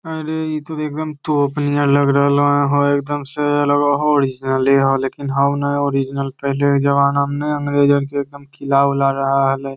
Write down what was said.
अरे इ ते एकदम तोप नियर लग रहले हेय हेय एकदम से लग रहले होअ ओरिजिनले हेय लेकिन होअ ने ओरिजिनल पहले के जमाना में ने अंग्रेजन के एकदम किला ऊला रहे हले।